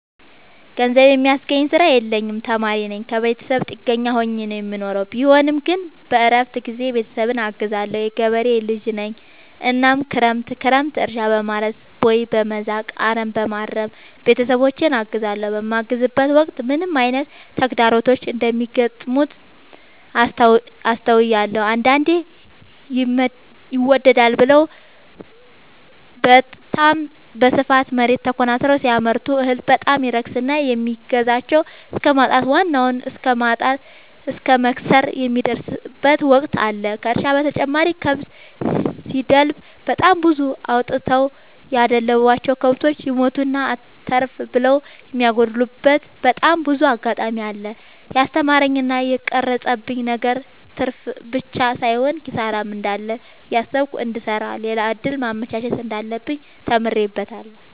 ገንዘብ የሚያስገኝ ስራ የለኝም ተማሪነኝ ከብተሰብ ጥገኛ ሆኜ ነው የምኖረው ቢሆንም ግን በረፍት ጊዜዬ ቤተሰብን አግዛለሁ። የገበሬ ልጅነኝ እናም ክረምት ክረምት እርሻ፣ በማረስ፣ ቦይ፣ በመዛቅ፣ አረምበማረም ቤተሰቦቼን አግዛለሁ። በማግዝበትም ወቅት ምን አይነት ተግዳሮቶች እንደሚገጥሙት አስተውያለሁ። አንዳንዴ ይመደዳል ብለው በታም በስፋት መሬት ተኮናትረው ሲያመርቱ እህል በጣም ይረክስና የሚገዛቸው እስከማጣት ዋናውን እስከማት እስከ መክሰር የሚደርሱበት ወቅት አለ ከእርሻ በተጨማሪ ከብት ሲደልቡ በጣም ብዙ አውጥተው ያደለቡቸው። ከብቶች ይሞቱና አተርፍ ብለው የሚያጎሉበቴ በጣም ብዙ አጋጣሚ አለ። የስተማረኝ እና የቀረፀብኝ ነገር ትርፍብቻ ሳይሆን ኪሳራም እንዳለ እያሰብኩ እንድሰራ ሌላ እድል ማመቻቸት እንዳለብኝ ተምሬበታለሁ።